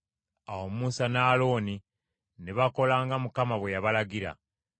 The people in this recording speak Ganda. Awo Musa ne Alooni ne bakola nga Mukama bwe yabalagira.